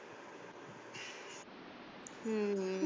ਹਮ